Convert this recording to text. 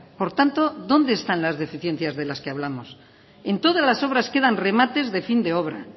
por tanto dónde están las deficiencias de las que hablamos en todas las obras quedan remates de fin de obra